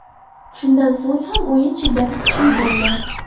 Shundan so‘ng ham o‘yin shiddati kuchli bo‘ldi.